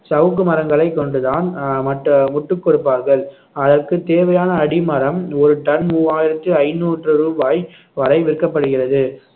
சவுக்கு மரங்களை கொண்டு தான் அஹ் மட்ட முட்டுக் கொடுப்பார்கள் அதற்கு தேவையான அடிமரம் ஒரு டன் மூவாயிரத்து ஐந்நூற்று ரூபாய் வரை விற்கப்படுகிறது